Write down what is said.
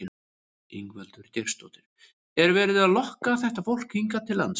Ingveldur Geirsdóttir: Er verið að lokka þetta fólk hingað til lands?